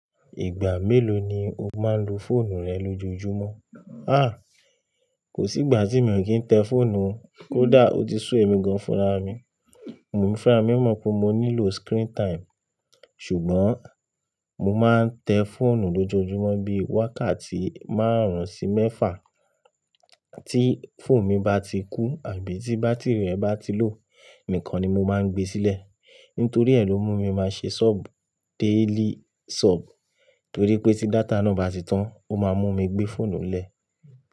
Ìgbà mélòó ni o máa ń lo fóònù rẹ lójoojúmọ́? Ah, kò sí ìgbà tí mi ò kí ń tẹ fóònù. Kódà ó ti sú ẹmi gan furá mi, mo ò funra mi mọ̀ pé mo nílò screen time. Ṣùgbọ́n mo máa ń tẹ fóònù lójoojúmọ́ bí wákàtí márùn-ún sí mẹ́fà. Tí fóònù mi bá ti kú àbí tí bátìrì rẹ̀ bá ti lò nìkan ni mo máa ń gbe sílẹ̀. Nítorí ẹ ló mú mi máa ṣe sub daily sub. Torí pé tí data náà bá ti tán, ó máa mú mi gbé fóònù lẹ̀.